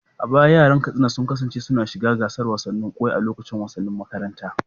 A baya yaran Katsina sun kasance suna shiga gasar tseren kwai a lokacin wasannin makaranta.